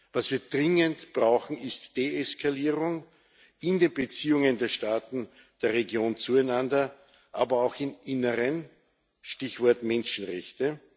Was wir dringend brauchen, ist Deeskalierung in den Beziehungen der Staaten der Region zueinander, aber auch im Inneren Stichwort Menschenrechte.